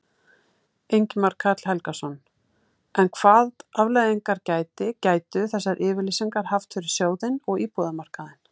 Ingimar Karl Helgason: En hvað afleiðingar gæti, gætu þessar yfirlýsingar haft fyrir sjóðinn og íbúðamarkaðinn?